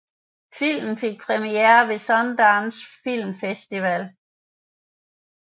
Filmen fik premiere ved Sundance Film Festival